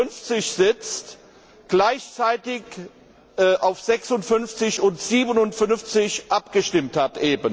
56 sitzt, gleichzeitig auf 56 und 57 abgestimmt hat.